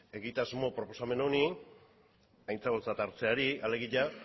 egitasmo proposamen honi aintzakotzat hartzeari alegia